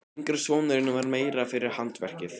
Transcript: Yngri sonurinn var meira fyrir handverkið.